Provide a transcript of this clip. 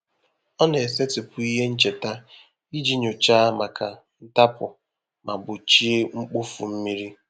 Ọ na-esetịpụ ihe ncheta iji nyòcháá maka ntapu ma gbochie mkpofu mmiri.